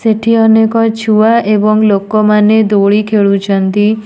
ସେଠି ଅନେକ ଛୁଆ ଏବଂ ଲୋକମାନେ ଦୋଳି ଖେଳୁଛନ୍ତି।